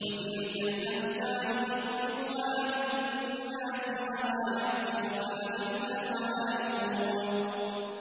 وَتِلْكَ الْأَمْثَالُ نَضْرِبُهَا لِلنَّاسِ ۖ وَمَا يَعْقِلُهَا إِلَّا الْعَالِمُونَ